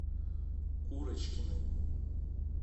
курочкиной